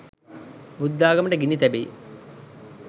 බුද්ධාගමට ගිනි තැබෙයි